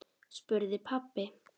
spurði pabbi.